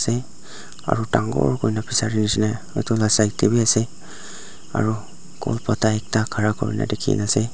te aru dangor kurina edu la side tae bi ase aro kol pata ekta khara kurina dikhiase.